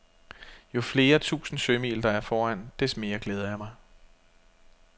Jo flere tusinde sømil, der er foran, des mere glæder jeg mig.